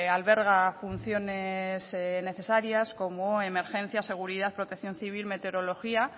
alberga funciones necesarias como emergencias seguridad protección civil meteorología